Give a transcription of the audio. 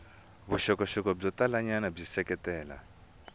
vuxokoxoko byo talanyana byi seketela